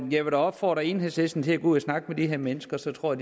vil da opfordre enhedslisten til at gå ud og snakke med de her mennesker så tror